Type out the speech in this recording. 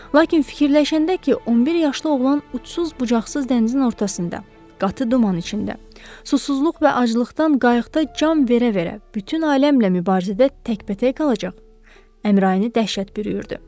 Lakin fikirləşəndə ki, 11 yaşlı oğlan uçsuz-bucaqsız dənizin ortasında, qatı duman içində, susuzluq və aclıqdan qayıqda can verə-verə bütün aləmlə mübarizədə təkbətək qalacaq, Əmrayini dəhşət bürüyürdü.